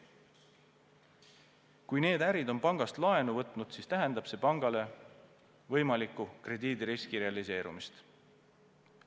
Kui need ärid on pangast laenu võtnud, siis tähendab see pangale võimaliku krediidiriski realiseerumist.